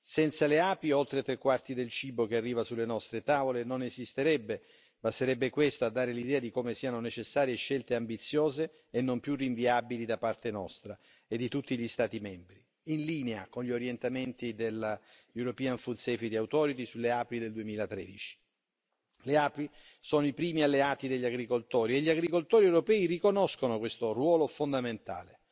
Senza le api, oltre tre quarti del cibo che arriva sulle nostre tavole non esisterebbe, basterebbe questo a dare l'idea di come siano necessarie scelte ambiziose e non più rinviabili da parte nostra e di tutti gli Stati membri, in linea con gli orientamenti della European Food Safety Authority sulle api del 2013. Le api sono i primi alleati degli agricoltori, e gli agricoltori europei riconoscono questo ruolo fondamentale.